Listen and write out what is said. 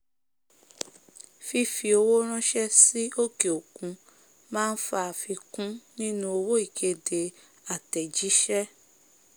fífi owó ránsẹ́ sí òkè òkun máa fa àfikún nínú owó ìkéde àtẹ̀jísé